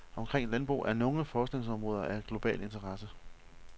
Omkring landbrug er nogle forskningsområder af global interesse.